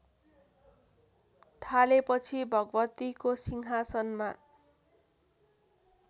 थालेपछि भगवतीको सिंहासनमा